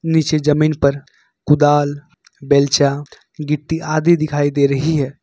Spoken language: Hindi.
नीचे जमीन पर कुदाल बेलचा गिट्टी आदि दिखाई दे रही है।